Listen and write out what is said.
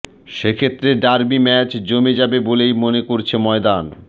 সেক্ষেত্রে derby match জমে যাবে বলেই মনে করছে ময়দান